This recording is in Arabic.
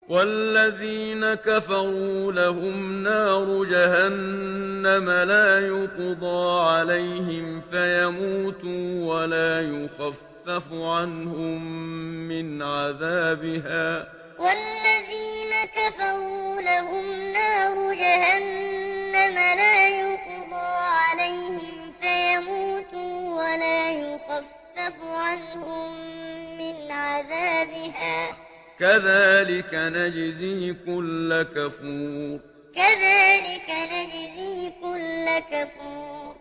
وَالَّذِينَ كَفَرُوا لَهُمْ نَارُ جَهَنَّمَ لَا يُقْضَىٰ عَلَيْهِمْ فَيَمُوتُوا وَلَا يُخَفَّفُ عَنْهُم مِّنْ عَذَابِهَا ۚ كَذَٰلِكَ نَجْزِي كُلَّ كَفُورٍ وَالَّذِينَ كَفَرُوا لَهُمْ نَارُ جَهَنَّمَ لَا يُقْضَىٰ عَلَيْهِمْ فَيَمُوتُوا وَلَا يُخَفَّفُ عَنْهُم مِّنْ عَذَابِهَا ۚ كَذَٰلِكَ نَجْزِي كُلَّ كَفُورٍ